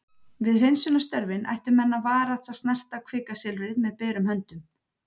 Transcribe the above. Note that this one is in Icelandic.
við hreinsunarstörfin ættu menn að varast að snerta kvikasilfrið með berum höndum